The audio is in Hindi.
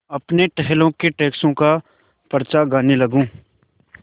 अपने टहलुओं के टैक्सों का पचड़ा गाने लगूँ